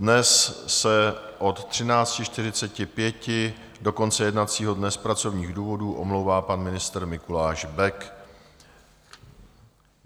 Dnes se od 13.45 do konce jednacího dne z pracovních důvodů omlouvá pan ministr Mikuláš Bek.